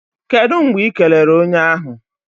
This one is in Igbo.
Kedụ mgbe Ị kelere onye ahụ?